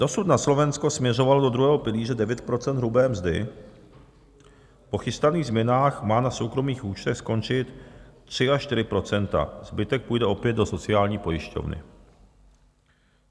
Dosud na Slovensko směřovalo do druhého pilíře 9 % hrubé mzdy, po chystaných změnách má na soukromých účtech skončit 3 až 4 %, zbytek půjde opět do sociální pojišťovny.